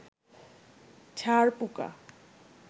ছার পোকা